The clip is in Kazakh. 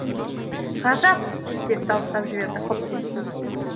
ғажап деп дауыстап жіберді хопкинс